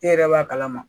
E yɛrɛ b'a kalama